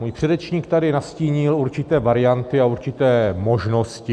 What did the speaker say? Můj předřečník tady nastínil určité varianty a určité možnosti.